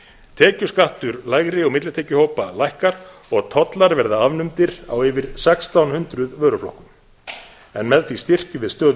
tekjuskattur lægri og millitekjuhópa lækkar og tollar verða afnumdir á yfir sextán hundruð vöruflokkum en með því styrkjum við stöðu